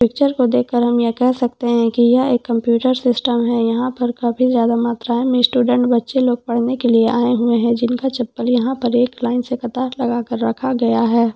Picture को देखकर हम यह कह सकते हैं के यह एक कंप्यूटर सिस्टम है यहां पर काफी ज्यादा मात्रा में स्टूडेंट बच्चे लोग पढ़ने के लिए आए हुए हैं जिनका चप्पल यहां पर एक लाइन से लगाकर रखा गया है।